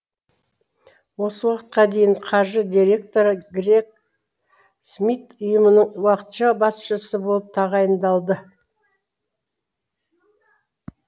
осы уақытқа дейін қаржы директоры грег смит ұйымның уақытша басшысы болып тағайындалды